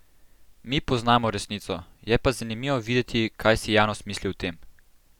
Mi poznamo resnico, je pa zanimivo videti, kaj si javnost misli o tem.